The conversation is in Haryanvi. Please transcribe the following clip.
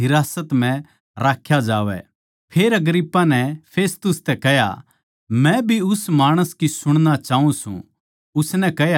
फेर अग्रिप्पा नै फेस्तुस तै कह्या मै भी उस माणस की सुणना चाऊँ सूं उसनै कह्या तू काल सुण लेवैगा